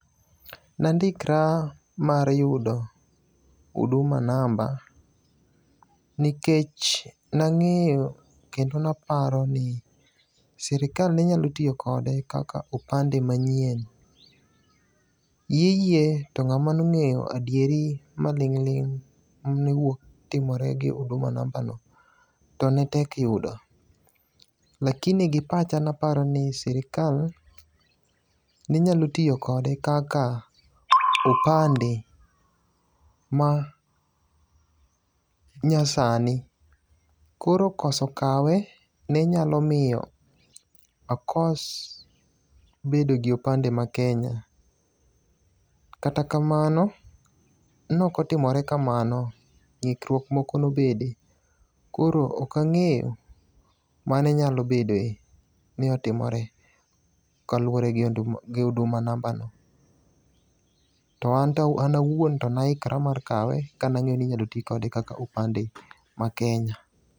Nandikra mar yudo Huduma namba nikech nang'eyo kendo naparo ni sirkal ne nyalo tiyo kode kaka opande manyien. Hiye hiye to nt'ama ne ong'eyo adieri maling' ling' mane wuok timore gi huduma namba no to ne tek yudo. Lakini gi pacha ne aparo ni sirkal ne nyalo tiyo kode kaka opande ma nyasani. Koro koso kawe ne nyalo miyo akos bedo gi opande ma Kenya. Kata kamano, nokotimore kamano. Ng'ikruok moko nobede. Koro ok ang'eyo mane nyalobedoe ni otimore kalure gi huduma namba no. To an awuon to ne ahikora mar kawe kane ang'eyo ni inyalo ti kode kaka opande ma Kenya.